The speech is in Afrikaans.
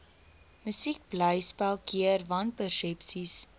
musiekblyspel keer wanpersepsies